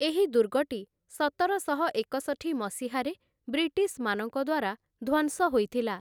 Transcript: ଏହି ଦୁର୍ଗଟି ସତରଶହ ଏକଷଠି ମସିହାରେ ବ୍ରିଟିଶ୍‌ମାନଙ୍କଦ୍ୱାରା ଧ୍ୱଂସ ହୋଇଥିଲା ।